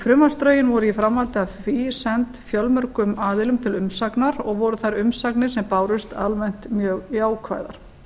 frumvarpsdrögin voru í framhaldi af því send fjölmörgum aðilum til umsagnar og voru þær umsagnir sem bárust almennt mjög jákvæðar